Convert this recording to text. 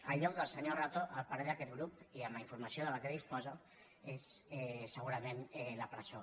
el lloc del senyor rato a parer d’aquest grup i amb la informa·ció de la qual disposa és segurament la presó